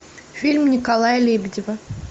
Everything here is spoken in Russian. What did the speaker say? фильм николая лебедева